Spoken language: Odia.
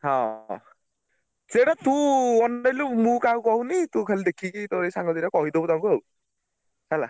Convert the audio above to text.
ହଁ ସେଇଟା ତୁ ଅନେଇଲୁ ମୁଁ କାହାକୁ କହୁନି ତୁ ଖାଲି ଦେଖିକି କେତବେଳେ ଏଇ ସାଙ୍ଗ ଦିଟାକୁ କହିଦବୁ ତାଙ୍କୁ ଆଉ ହେଲା।